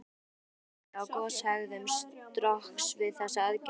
Verulegar breytingar urðu á goshegðun Strokks við þessa aðgerð.